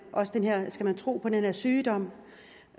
skal tro af den her sygdom